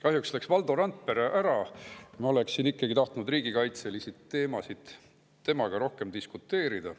Kahjuks läks Valdo Randpere ära, ma oleksin tahtnud riigikaitselistel teemadel temaga rohkem diskuteerida.